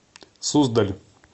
суздаль